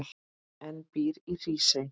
en býr í Hrísey.